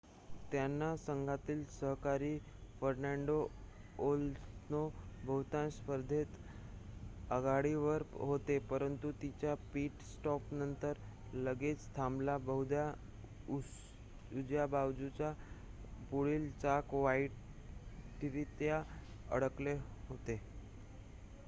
त्यांचा संघातील सहकारी फर्नांडो अलोन्सो बहुतांश स्पर्धेत आघाडीवर होता परंतु त्याच्या पिट-स्टॉपनंतर लगेच थांबला बहुधा उजव्या बाजूचे पुढील चाक वाईटरित्या अडकले होते